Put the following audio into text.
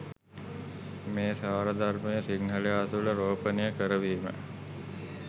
මේ සාරධර්මය සිංහලයා තුළ රෝපණය කරවීම